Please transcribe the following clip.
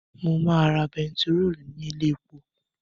Mo máa ra bentiróòlù ní ilé epo